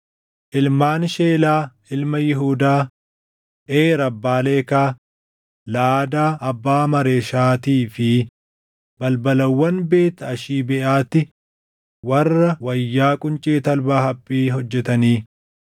Ilmaan Sheelaa ilma Yihuudaa: Eer abbaa Leekaa, Laʼadaa abbaa Maareeshaatii fi balbalawwan Beet Ashibeeʼaatti warra wayyaa quncee talbaa haphii hojjetanii.